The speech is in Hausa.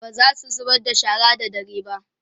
bazasu zubar da shara da dare ba